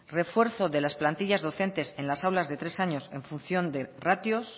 refuerzo de la plantillas docentes en las aulas de tres años en función de ratios